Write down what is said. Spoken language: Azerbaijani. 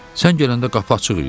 Sən gələndə qapı açıq idi?